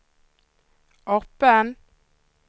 öppen